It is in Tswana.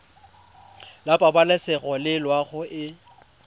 la pabalesego le loago e